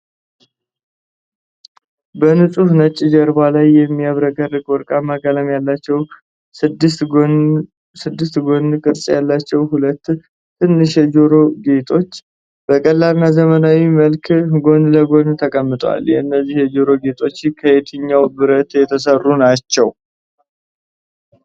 በንፁህ ነጭ ጀርባ ላይ የሚያብረቀርቁ ወርቃማ ቀለም ያላቸውና ስድስት ጎን ቅርጽ ያላቸው ሁለት ትንሽ የጆሮ ጌጦች፣ በቀላልና ዘመናዊ መልክ ጎን ለጎን ተቀምጠዋል። እነዚህ የጆሮ ጌጦች ከየትኛው ብረት የተሠሩ ናቸው?